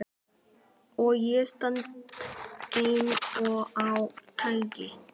Og ég stend ein á ganginum.